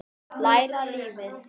Læra lífið.